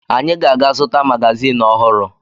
Anyị ga-aga zụta magazin ọhụrụ